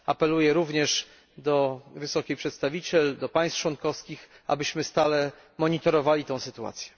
Apeluję również do wysokiej przedstawiciel i do państw członkowskich, abyśmy stale monitorowali sytuację.